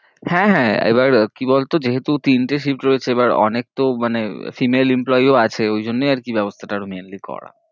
হ্যাঁ হ্যাঁ, এবার কি বল তো যেহেতু তিনটে shift রয়েছে, এবার অনেক তো মানে female employee ও আছে, ওই জন্যেই আর কি ব্যবস্থা টা আরো mainly করা